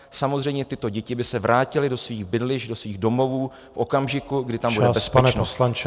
Samozřejmě tyto děti by se vrátily do svých bydlišť, do svých domovů v okamžiku, kdy tam bude bezpečno.